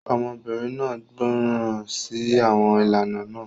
Ọmọbìnrin náà gbọ́ràn sí àwọn ìlànà náà.